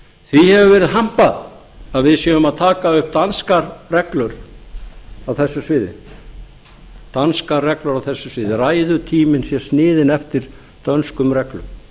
því hefur verið hampað að við séum að taka upp danskar reglur á þessu sviði ræðutíminn sé sniðinn eftir dönskum reglum